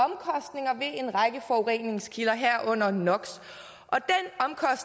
er en række forureningskilder herunder no